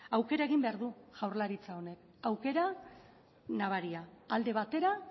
aukera egin behar du jaurlaritza honek aukera nabaria alde batera